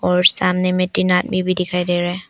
और सामने में तीन आदमी भी दिखाई दे रहें--